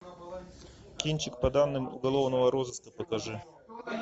кинчик по данным уголовного розыска покажи